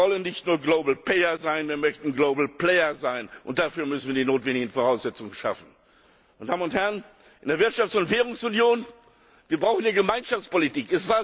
Wir wollen nicht nur global payer sein, wir möchten Global Player sein, und dafür müssen wir die notwendigen Voraussetzungen schaffen. Meine Damen und Herren, in der Wirtschafts und Währungsunion brauchen wir Gemeinschaftspolitik.